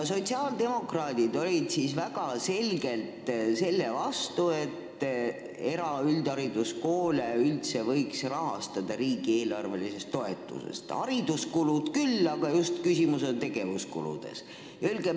Sotsiaaldemokraadid olid siis väga selgelt selle vastu, et eraüldhariduskoole võiks üldse riigieelarvelise toetuse abil rahastada, hariduskulusid küll, aga küsimus on just tegevuskuludes.